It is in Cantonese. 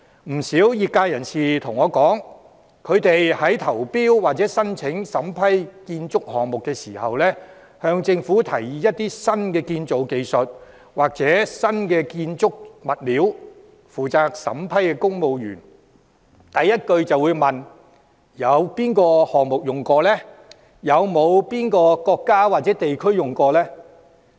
不少業界人士告訴我，他們在投標或申請審批建築項目時，向政府提議一些新建造技術或新建築物料，負責審批的公務員第一句便問：那些新技術或新物料曾在哪個項目應用？